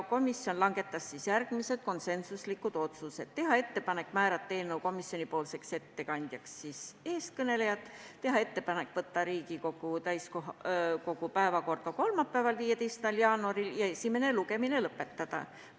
Komisjon langetas järgmised konsensuslikud otsused: teha ettepanek määrata eelnõu komisjonipoolseks ettekandjaks eeskõnelejad, teha ettepanek võtta eelnõu Riigikogu täiskogu päevakorda kolmapäevaks, 15. jaanuariks ja esimene lugemine lõpetada.